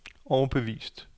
overbevist